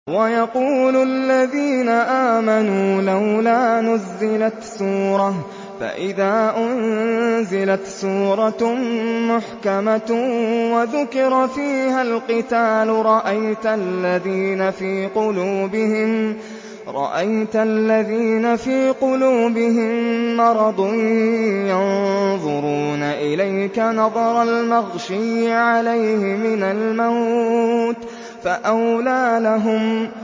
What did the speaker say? وَيَقُولُ الَّذِينَ آمَنُوا لَوْلَا نُزِّلَتْ سُورَةٌ ۖ فَإِذَا أُنزِلَتْ سُورَةٌ مُّحْكَمَةٌ وَذُكِرَ فِيهَا الْقِتَالُ ۙ رَأَيْتَ الَّذِينَ فِي قُلُوبِهِم مَّرَضٌ يَنظُرُونَ إِلَيْكَ نَظَرَ الْمَغْشِيِّ عَلَيْهِ مِنَ الْمَوْتِ ۖ فَأَوْلَىٰ لَهُمْ